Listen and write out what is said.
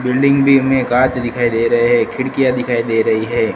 Building भी हमें कांच दिखाई दे रहे है खिड़कियां दिखाई दे रही है।